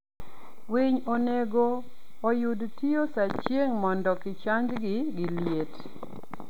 winy onego oyud tio saa chieng mondo kichangi gi liet